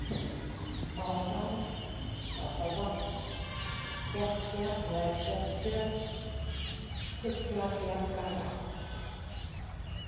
Máfadalur, Stapárvatn, Stekkjarlækjartjörn, Fuglabjargavatn